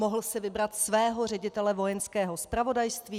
Mohl si vybrat svého ředitele Vojenského zpravodajství.